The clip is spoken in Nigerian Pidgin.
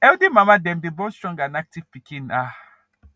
healthy mama dem day born strong and active piken um